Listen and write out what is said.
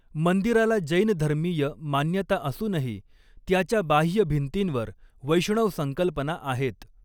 मंदिराला जैन धर्मीय मान्यता असूनही, त्याच्या बाह्य भिंतींवर वैष्णव संकल्पना आहेत.